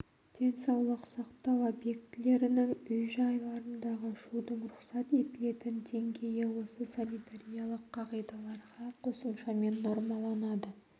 денсаулық сақтау объектілерінің үй-жайларындағы шудың рұқсат етілетін деңгейі осы санитариялық қағидаларға қосымшамен нормаланады